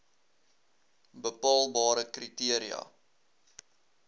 bepaalbare kri teria